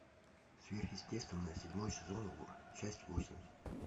сверхъестественное седьмой сезон часть восемь